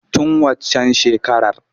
Tun waccan shekarar.